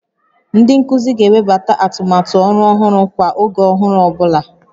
Ndị nkuzi ga-ewebata atụmatụ ọrụ ọhụrụ kwa oge ọhụrụ ọ bụla